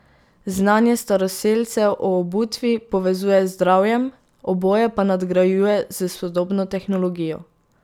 Znanje staroselcev o obutvi povezuje z zdravjem, oboje pa nadgrajuje s sodobno tehnologijo.